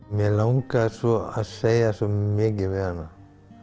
mig langar svo að segja svo mikið við hana